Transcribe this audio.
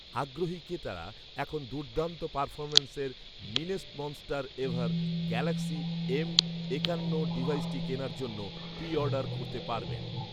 আগ্রহী ক্রেতারা এখন দুর্দান্ত পারফরমেন্সের ‘meanest monster ever’ Galaxy M একান্ন ডিভাইসটি কেনার জন্য প্রি অর্ডার করতে পারবেন